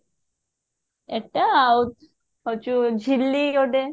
ଏଟା ଆଉ ହଉଛି ଝିଲି ଗୋଟେ